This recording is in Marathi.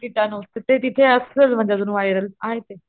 किटाणू तर ते तिथे असलं म्हणजे अजून वायरल आहे ते.